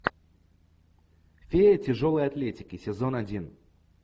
фея тяжелой атлетики сезон один